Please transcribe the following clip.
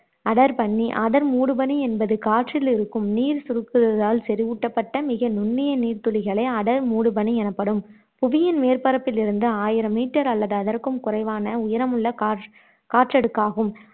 அடர் பனி அடர் மூடு பனி என்பது காற்றிலிருக்கும் நீர் சுருங்குவதாலால் செறிவூட்டப்பட்ட மிக நுண்ணிய நீர்த்துளிகளே அடர் மூடு பனி எனப்படும் புவியின் மேற்பரப்பிலிருந்து ஆயிரம் மீட்டர் அல்லது அதற்கும் குறைவான உயரமுள்ள காற் காற்றடுக்காகும்